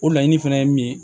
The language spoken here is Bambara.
O laɲini fɛnɛ ye min ye